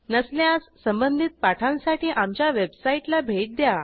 नसल्यास संबंधित पाठांसाठी आमच्या वेबसाईटला भेट द्या